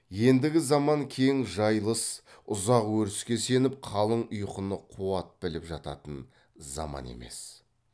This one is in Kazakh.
ендігі заман кең жайылыс ұзақ өріске сеніп қалың ұйқыны қуат біліп жататын заман емес